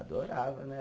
Adorava, né?